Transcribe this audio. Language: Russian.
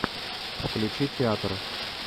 включи театр